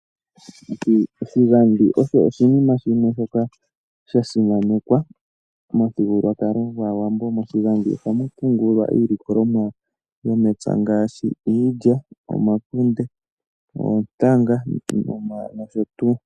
Oshigadhi osho oshinima shimwe shoka sha simanekwa momuthigululwakalo gwaawambo. Moshigadhi ohamu pungulwa iilikolomwa yomepya ngaashi iilya, omakunde, oontanga nosho tuu.